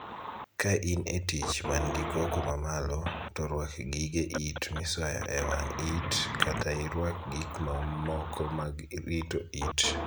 Ka in etich man gi koko ma malo, to ruak gige it misoyo e wang' it kata iruak gik mamoko mag rito it.